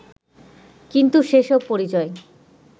কিন্তু সেসব পরিচয়